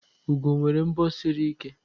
ugo nwere mbo siri ike